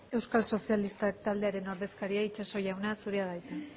euskal sozialistak taldearen ordezkaria itxaso jauna zurea da hitza